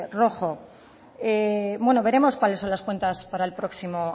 rojo bueno veremos cuáles son las cuentas para el próximo